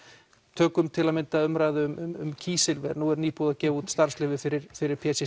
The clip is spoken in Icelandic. tökum til að mynda umræðu um kísilver nú er nýbúið að gefa út starfsleyfi fyrir fyrir p c